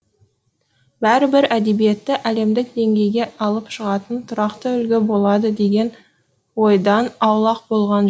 бәрібір әдебиетті әлемдік деңгейге алып шығатын тұрақты үлгі болады деген ойдан аулақ болған